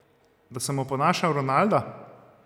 Da sem oponašal Ronalda?